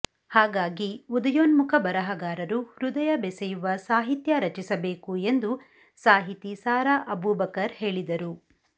ಹಾಗಾಗಿ ಉದಯೋನ್ಮುಖ ಬರಹಗಾರರು ಹೃದಯ ಬೆಸೆಯುವ ಸಾಹಿತ್ಯ ರಚಿಸಬೇಕು ಎಂದು ಸಾಹಿತಿ ಸಾರಾ ಅಬೂಬಕರ್ ಹೇಳಿದರು